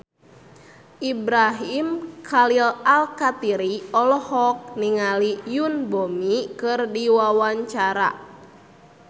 Ibrahim Khalil Alkatiri olohok ningali Yoon Bomi keur diwawancara